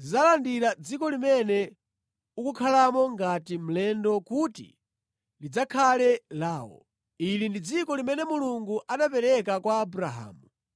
zidzalandira dziko limene ukukhalamo ngati mlendo kuti lidzakhale lawo. Ili ndi dziko limene Mulungu anapereka kwa Abrahamu.”